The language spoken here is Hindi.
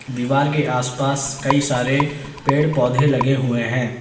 दीवार के आस पास कई सारे पेड़ पौधे लगे हुए हैं।